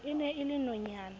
e ne e le nonyana